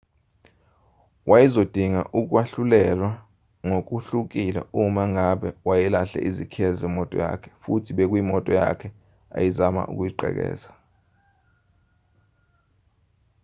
wayezodinga ukwahlulelwa ngokuhlukile uma ngabe wayelahle izikhiye zemoto yakhe futhi bekuyimoto yakhe ayezama ukuyigqekeza